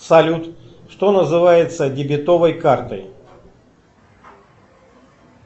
салют что называется дебетовой картой